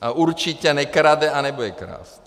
A určitě nekrade a nebude krást.